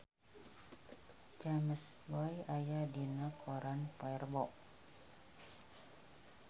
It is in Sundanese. James Bay aya dina koran poe Rebo